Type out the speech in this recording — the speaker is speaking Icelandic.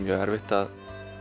erfitt að